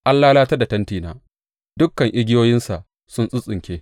An lalatar da tentina; dukan igiyoyinsa sun tsintsinke.